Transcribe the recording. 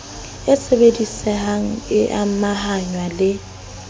e sebedisehang e amahngwa le